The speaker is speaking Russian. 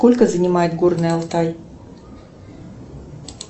сколько занимает горный алтай